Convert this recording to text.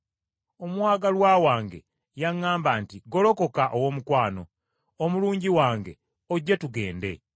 Omwagalwa wange yaŋŋamba nti, “Golokoka, Owoomukwano, omulungi wange, ojje tugende,